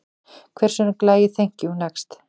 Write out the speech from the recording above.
Hver söng lagið Thank you, next?